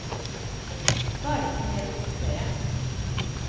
Så er det ikke mer å diskutere.